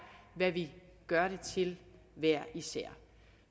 hvad vi gør det til hver især